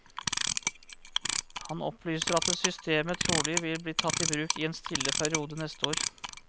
Han opplyser at systemet trolig vil bli tatt i bruk i en stille periode neste år.